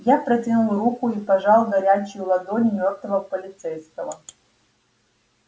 я протянул руку и пожал горячую ладонь мёртвого полицейского